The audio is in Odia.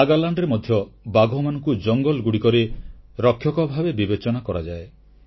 ନାଗାଲେଣ୍ଡରେ ମଧ୍ୟ ବାଘମାନଙ୍କୁ ଜଙ୍ଗଲଗୁଡ଼ିକର ରକ୍ଷକ ଭାବେ ବିବେଚନା କରାଯାଏ